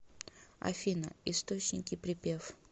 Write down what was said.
афина источники припев